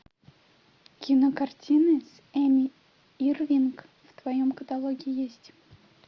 кинокартины с эми ирвинг в твоем каталоге есть